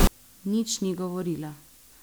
Nič ni govorila.